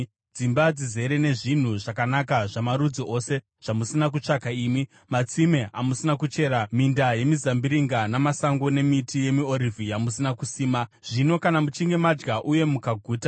dzimba dzizere nezvinhu zvakanaka zvamarudzi ose zvamusina kutsvaka imi, matsime amusina kuchera, minda yemizambiringa namasango nemiti yemiorivhi yamusina kusima, zvino kana muchinge madya uye mukaguta,